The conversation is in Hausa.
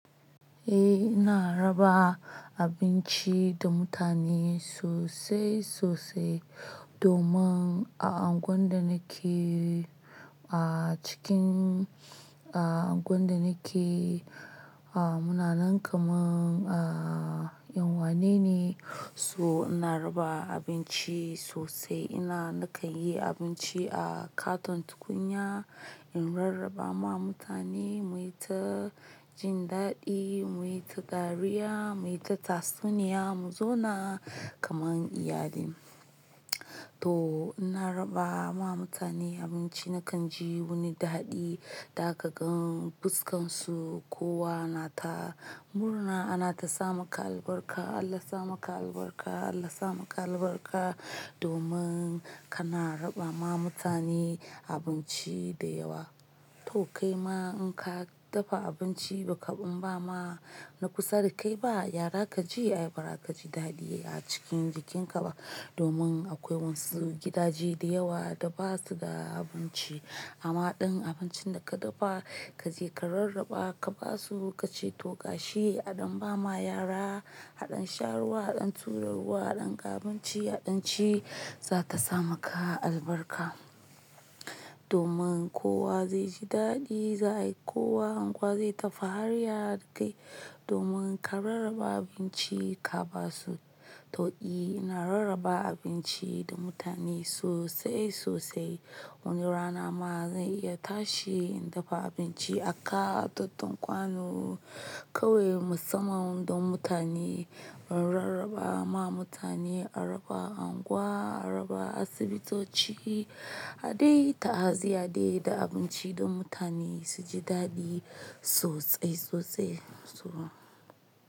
Eh ina raba abinci da mutane sosai sosai domin a unguwan da nake, a cikin a unguwan da nake a muna nan kaman a yan'uwane ne. So ina raba abinci sosai ina nakan yi abinci a katon tukunya in rarraba ma mutane muyi ta jin daɗi, muyi ta dariya, muyi ta tatsuniya mu zauna kaman iyali. To ina raba ma mutane abinci nakan ji wuni da haɗi da ka gan fuskan su kowa na ta murna ana ta sa maka albarka, Allah sa maka albarka, Allah sa maka albarka domin kana raba ma mutane abinci da yawa. To kai ma in ka dafa abinci baka ɓama ma na kusa da kai ba, yara kaji, ayi bara kaji daɗi a cikin jikin ka ba domin akwai wasu gidaje da yawa da basu da abinci. Amma ɗin abincin da ka dafa kaje ka rarraba ka basu ka ce to gashi aɗan ba ma yara, haɗin sha ruwa, haɗin tura ruwa, haɗin ga abinci, haɗin ci za'a ta sa maka albarka. Domin kowa zai ji daɗi, za ayi kowa anguwa zai ta fahariya da kai domin ka rarraba abinci ka basu. To I ina rarraba abinci da mutane sosai sosai. Wani rana ma zan iya tashi in dafa abinci a katon kwano kawai musamman don mutane in rarraba ma mutane, a raba unguwa, a raba asibitoci, haɗe ta'aziyya dai da abinci don mutane su ji daɗi sosai sosai. So.